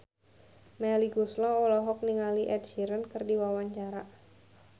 Melly Goeslaw olohok ningali Ed Sheeran keur diwawancara